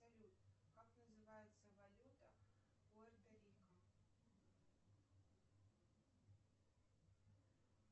салют как называется валюта пуэрто рико